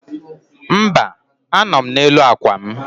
Mba, anọ m n'elu akwa m.